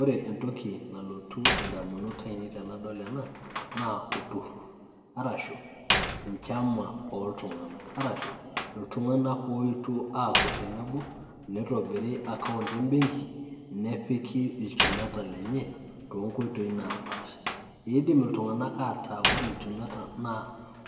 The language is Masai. Ore entoki nalotu indamunot ainei tenadol ena, naa olturrur. Arashu enchama oltung'anak. Arashu, iltung'anak oetuo aaku tenebo, nitobiri account ebenki, nepiki ilchumeta lenye, tonkoitoi napaasha. Idim iltung'anak ataa Ore ilchumeta naa,